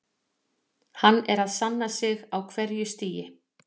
Hann er að sanna sig á hverju stigi.